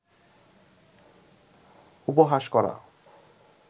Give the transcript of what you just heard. উপহাস করা